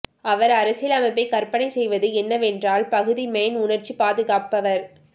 அவர் அரசியலமைப்பை கற்பனை செய்வது என்னவென்றால் பகுதி மேன் உணர்ச்சி பாதுகாப்பவர்